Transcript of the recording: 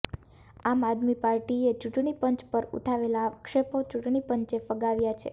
આમ આદમી પાર્ટીએ ચૂંટણી પંચ પર ઉઠાવેલા આક્ષેપો ચૂંટણી પંચે ફગાવ્યા છે